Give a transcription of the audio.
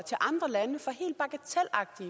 andre lande